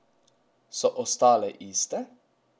So ostale iste?